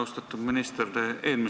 Austatud minister!